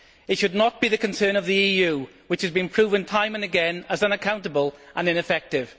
It should not be the concern of the EU, which has been proven, time and again, as unaccountable and ineffective.